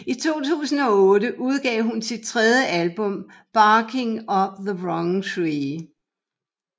I 2008 udgav hun sit tredje album Barking Up the Wrong Tree